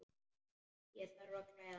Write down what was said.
Ég þarf að klæða mig.